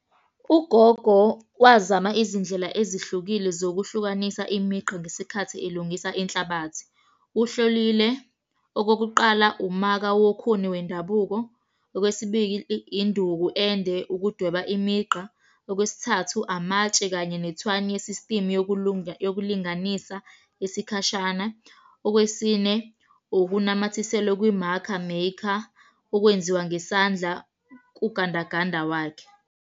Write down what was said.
Ugogo wazama izindlela ezihlukile zokuhlukanisa imigqa ngesikhathi elungisa inhlabathi. Uhlolile, okokuqala umaka wokhuni wendabuko. Okwesibili, induku ende ukudweba imigqa. Okwesithathu, amatshe kanye nethwani ye-system yokulunga, yokulinganisa isikhashana. Okwesine, ukunamathisela kwi-marker maker, okwenziwa ngesandla kugandaganda wakhe.